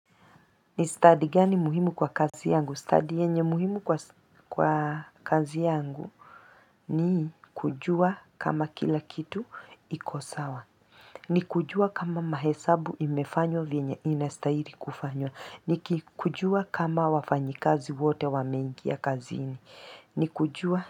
Ni study gani muhimu kwa kazi yangu Study yenye muhimu kwa kazi yangu ni kujua kama kila kitu iko sawa. Study yenye muhimu kwa kazi yangu ni kujua kama kila kitu iko sawa. Ni kujua kama wafanyikazi wote wameingia kazini.